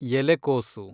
ಎಲೆಕೋಸು